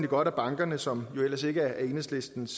godt at bankerne som jo ellers ikke er enhedslistens